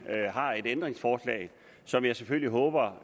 ændringsforslag som jeg selvfølgelig håber